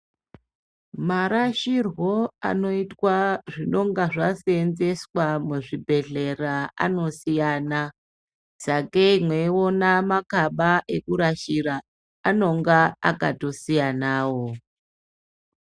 Marasirwo anoitwa zvinonga zvaseenzeswa muzvibhedhlera anosiyana, sakei mweiona makaba ekurashira anenge akatosiyanawo.